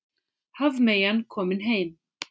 Hafmeyjan komin heim